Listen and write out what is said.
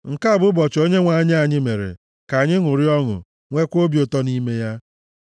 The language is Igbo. Nke a bụ ụbọchị Onyenwe anyị anyị mere, ka anyị ṅụrịa ọṅụ, nweekwa obi ụtọ nʼime ya.